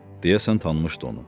Deyəsən tanımışdı onu.